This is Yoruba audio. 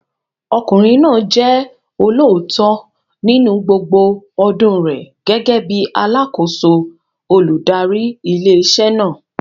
Ọkùnrin náà jẹ́ olóòótọ́ nínú gbogbo ọdún rẹ̀ gẹ́gẹ́ bíi alákòóso olùdarí ilé iṣẹ́ náà.